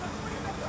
Hazır olacaq.